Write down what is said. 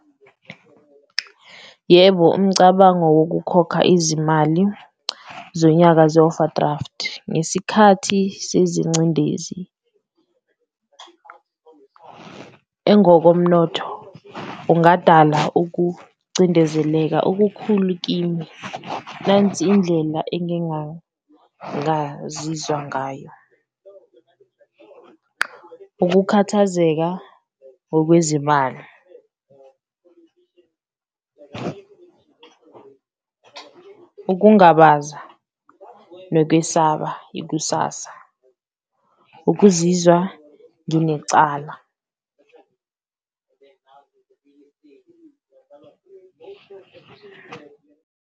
Yebo, umcabango wokukhokha izimali zonyaka ze-overdraft ngesikhathi sezincindezi engokomnotho kungadala ukucindezeleka okukhulu kimi, nansi indlela engingangazizwa ngayo. Ukukhathazeka ngokwezimali, ukungabaza nokwesaba ikusasa, ukuzizwa nginecala .